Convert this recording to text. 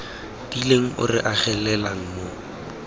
tiileng o re agelelang mo